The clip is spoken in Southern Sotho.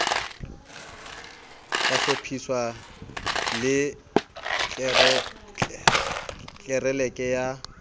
ka hlophiswa le tlelereke ya